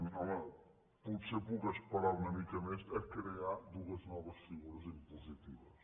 home potser puc esperar una mica més a crear dues noves figures impositives